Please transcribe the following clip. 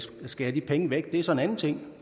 skære de penge væk er så en anden ting